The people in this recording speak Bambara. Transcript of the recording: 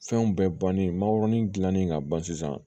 Fɛnw bɛɛ bannen manganin dilanen ka ban sisan